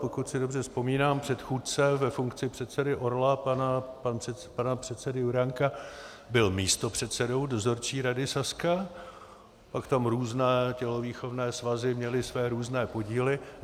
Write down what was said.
Pokud si dobře vzpomínám, předchůdce ve funkci předsedy Orla pana předsedy Juránka byl místopředsedou Dozorčí rady Sazky, pak tam různé tělovýchovné svazy měly své různé podíly.